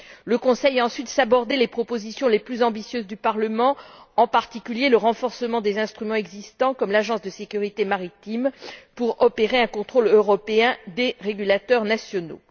Le Conseil a ensuite sabordé les propositions les plus ambitieuses du Parlement, en particulier le renforcement des instruments existants, comme l'Agence de sécurité maritime pour le contrôle européen des régulateurs nationaux.